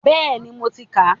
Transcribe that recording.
Bẹ́ẹ̀ni, mo ti kà á.